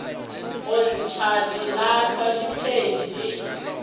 go ntšha dilahlwa diphedi di